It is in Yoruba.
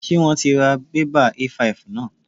Ṣé wón ti ra bébà A5 náà?